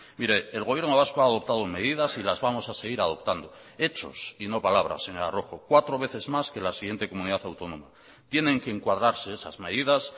mire el gobierno vasco ha adoptado medidas y las vamos a seguir adoptando hechos y no palabras señora rojo cuatro veces más que la siguiente comunidad autónoma tienen que encuadrarse esas medidas